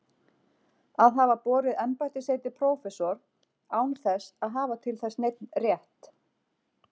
Að hafa borið embættisheitið prófessor án þess að hafa til þess neinn rétt.